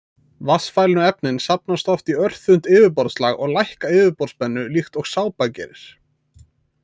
Vatnsfælnu efnin safnast oft í örþunnt yfirborðslag og lækka yfirborðsspennu líkt og sápa gerir.